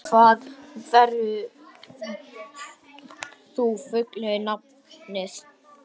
Olli, hvað heitir þú fullu nafni?